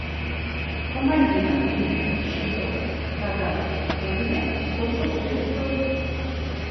помоги обменять шестьсот казахских тенге сколько будет стоить